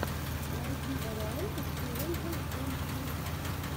найди варианты челленджей эмфил